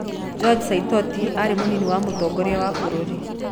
George Saitoti aarĩ mũnini wa Mũtongoria wa bũrũri